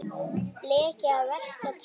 Leki af versta tagi